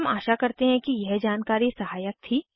हम आशा करते हैं यह जानकारी सहायक थी